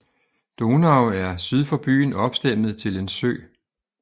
Donau er syd for byen opstemmet til en sø